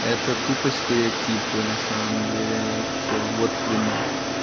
это тупо стереотипы на самом деле я все вот тебе но